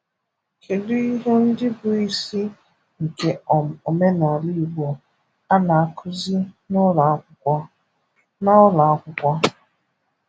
Kedu ihe ndị bụ isi nke um omenala Igbo a na-akụzi na ụlọ akwụkwọ? na ụlọ akwụkwọ?